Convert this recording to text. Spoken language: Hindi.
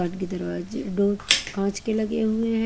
बाहर के दरवाजे डोर कांच के लगे हुए हैं।